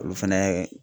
Olu fɛnɛ